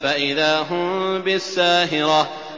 فَإِذَا هُم بِالسَّاهِرَةِ